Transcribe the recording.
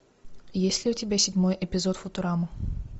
есть ли у тебя седьмой эпизод футурамы